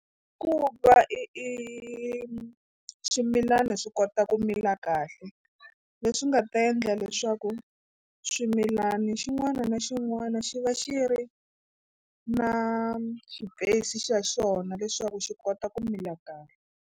Ku va i i swimilana swi kota ku mila kahle leswi nga ta endla leswaku swimilana xin'wana na xin'wana xi va xi ri na space xa xona leswaku xi kota ku mila kahle.